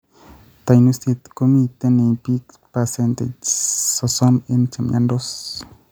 Tanuiset komitei eng piik percentage 60 eng chemiandos